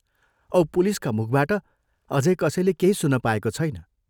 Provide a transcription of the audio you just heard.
औ पुलिसका मुखबाट अझै कसैले केही सुन्न पाएको छैन।